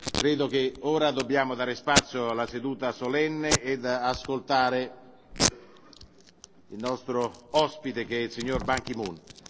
Credo che ora dobbiamo dare spazio alla seduta solenne ed ascoltare il nostro ospite che è il signor Ban Ki Moon.